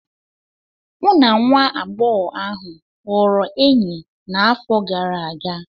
Mụ na nwa agbọghọ ahụ ghọrọ enyi n'afọ gara aga